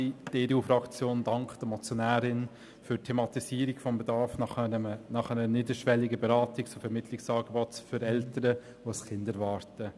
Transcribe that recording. Die EDU-Fraktion dankt der Motionärin für die Thematisierung des Bedarfs nach einem niederschwelligen Beratungs- und Vermittlungsangebot für Eltern, die ein Kind erwarten.